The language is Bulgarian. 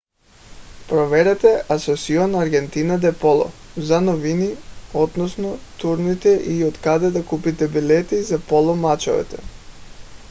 проверете asociacion argentina de polo за новини относно турнирите и откъде да купите билети за поло мачовете